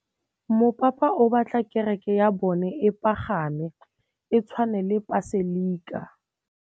Mopapa o batla kereke ya bone e pagame, e tshwane le paselika.